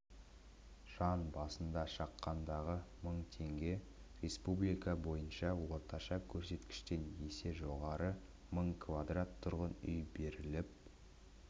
жан басына шаққандағы мың теңге республика бойынша орташа көрсеткіштен есе жоғары мың кв тұрғын үй беріліп